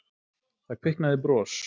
Það kviknaði bros.